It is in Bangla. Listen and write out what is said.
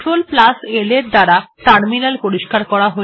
CTRLL এর দ্বারা টার্মিনাল পরিষ্কার করা হল